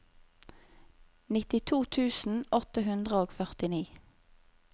nittito tusen åtte hundre og førtini